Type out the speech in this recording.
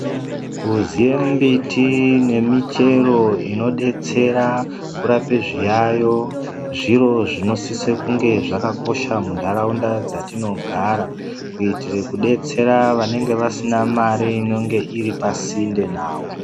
Kuziye mbiti nemichero inodetsera kurape zviyayo zviro zvinosise kunge zvakakosha munharaunda dzatinogara kuitire kudetsera vanenge vasina mare inenge iripasinde navo.